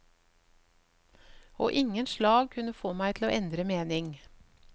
Og ingen slag kunne få meg til å endre mening.